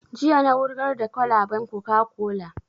Jiya na wurgar da kwalaban coca-cola